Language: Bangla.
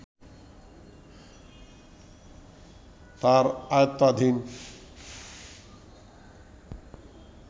তাঁর আয়ত্তাধীন